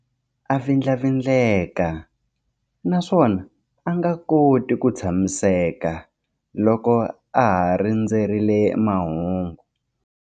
A vindlavindleka naswona a nga koti ku tshamiseka loko a ha rindzerile mahungu.